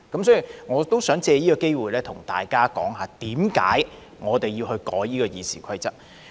所以，我想藉此機會對大家說我們修改《議事規則》的原因。